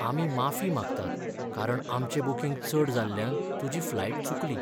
आमी माफी मागतात कारण आमचें बूकींग चड जाल्ल्यान तुजी फ्लायट चुकली